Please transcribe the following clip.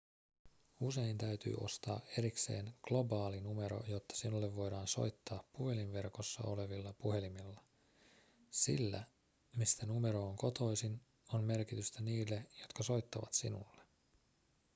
usein täytyy ostaa erikseen globaali numero jotta sinulle voidaan soittaa puhelinverkossa olevilla puhelimilla sillä mistä numero on kotoisin on merkitystä niille jotka soittavat sinulle